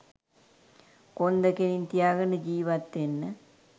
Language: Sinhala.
කොන්ද කෙලින් තියාගෙන ජිවත් වෙන්න